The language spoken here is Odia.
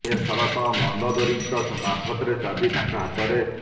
ଏ ଶର ତ ମନ୍ଦୋଦରୀଙ୍କ ମାର୍ଫତରେ ଚାବି ତାଙ୍କ ହାତରେ